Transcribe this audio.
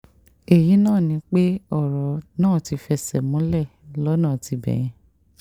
èyí ni pé ọ̀rọ̀ náà ti fẹsẹ̀ múlẹ̀ lọ́nà tibẹ̀ yẹn